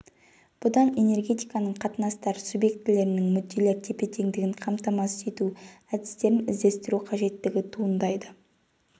бұдан энергетикалық қатынастар субъектілерінің мүдделер тепетеңдігін қамтамасыз ету әдістерін іздестіру қажеттігі туындайды